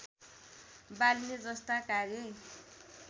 बाल्ने जस्ता कार्य